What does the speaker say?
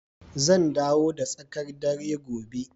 Zan dawo da tsakar dare gobe